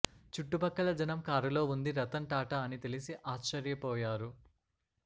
చుట్టుపక్కల జనం కారులో ఉంది రతన్ టాటా అని తెలిసి ఆశ్చర్యపోయారు